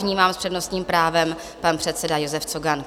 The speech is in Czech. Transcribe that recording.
Vnímám - s přednostním právem pan předseda Josef Cogan.